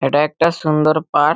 এটা একটা সুন্দর পার্ক ।